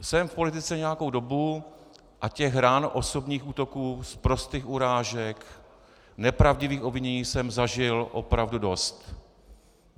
Jsem v politice nějakou dobu a těch ran, osobních útoků, sprostých urážek, nepravdivých obvinění jsem zažil opravdu dost.